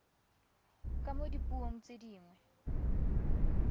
ka mo dipuong tse dingwe